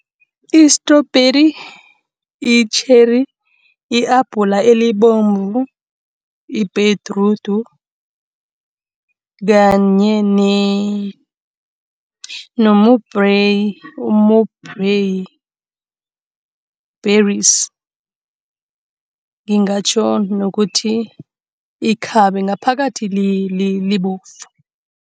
I-strawberry, i-cherry, i-abhula elibomvu, ibhedrudi kanye berries. Ngingatjho nokuthi ikhabe ngaphakathi libovu.